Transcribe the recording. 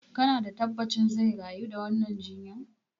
Kana da tabbacin zai rayu da wannan jinyan?